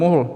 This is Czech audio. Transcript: Mohl.